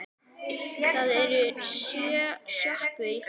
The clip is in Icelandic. Það eru sjö sjoppur í þorpinu!